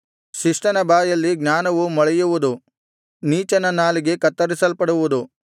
ಶಿಷ್ಟನ ಬಾಯಲ್ಲಿ ಜ್ಞಾನವು ಮೊಳೆಯುವುದು ನೀಚನ ನಾಲಿಗೆ ಕತ್ತರಿಸಲ್ಪಡುವುದು